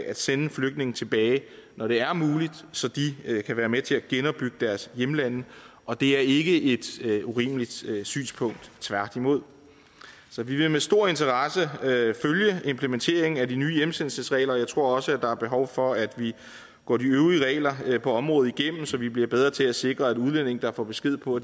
at sende flygtninge tilbage når det er muligt så de kan være med til at genopbygge deres hjemlande og det er ikke et urimeligt synspunkt tværtimod så vi vil med stor interesse følge implementeringen af de nye hjemsendelsesregler jeg tror også at der er behov for at vi går de øvrige regler på området igennem så vi bliver bedre til at sikre at udlændinge der får besked på